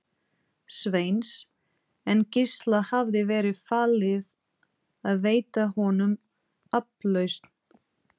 Sveins, en Gísla hafði verið falið að veita honum aflausn.